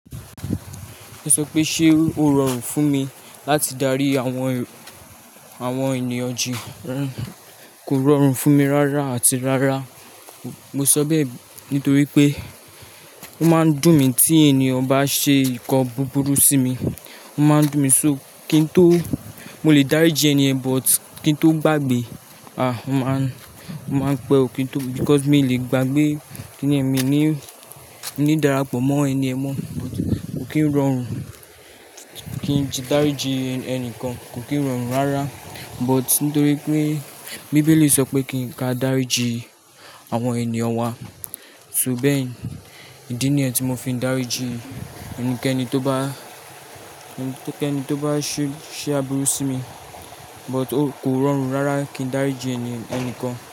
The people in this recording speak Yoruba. Ó sọ pé, ṣé o rọrùn fún mi láti darí àwọn, àwọn ènìyàn jí? Kò rọrùn fún mi rárá àti rárá. Mo sọ bẹ́ẹ̀ nítorí pé ó máa ń dùn mí tí ènìyàn ba ṣe nǹkan búburú sí mi. Ó máa ń dùn mí ṣóó kí n tó, mo lè dáríji ẹni yẹn but kí n tó gbàgbé, ah! Mo máa, mo máa pẹ́ ò kín tó because mi ò lè gbàgbé kíni yén èmi ní, ní darapọ̀ mọ́ ẹni ẹ̀ mọ́. Kò kín rọrùn kí n jí, dáríji ẹnìkan, kò kín rọrùn rárá but nítorí pé bíbélì sọ pé kí n ka dáríji àwọn ènìyàn wa, so bẹ́ẹ̀ ìdí nìyẹn tí mo fi ń dáríji ẹnikẹ́ni tó bá, ẹni tó kẹ́ni tó bá ṣe, ṣe aburú sí mi but ó kò rọrùn rárá kí n dáríji ẹni, ẹnikan.